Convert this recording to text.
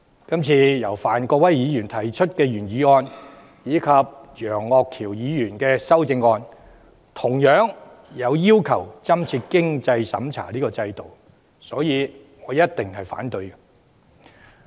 今次由范國威議員提出的原議案及楊岳橋議員的修正案，同樣要求增設經濟審查制度，所以我一定會反對。